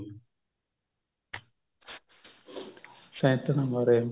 ਸੇਨਤਾ ਮਾਰੇ